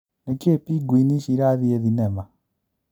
Nĩkĩĩ Pingwini ici ĩrathiĩ thinema ?